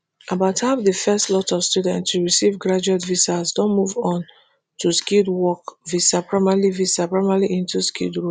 about half di first lot of students to receive graduate visas don move on to skilledwork visas primarily visas primarily into skilled roles